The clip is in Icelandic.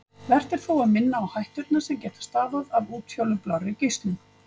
Vert er þó að minna á hætturnar sem geta stafað af útfjólublárri geislun.